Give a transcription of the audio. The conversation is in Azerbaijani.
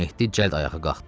Mehdi cəld ayağa qalxdı.